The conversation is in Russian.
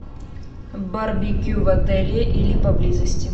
барбекю в отеле или поблизости